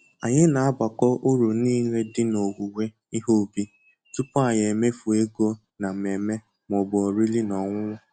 Anyị na agbakọ uru nile di n'owuwe ihe ubi tupu anyị emefuo ego na mmemme ma ọ bụ oriri-na-ọṅụṅụ